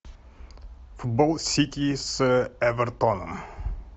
футбол сити с эвертон